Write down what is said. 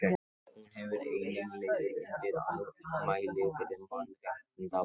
hún hefur einnig legið undir ámæli fyrir mannréttindabrot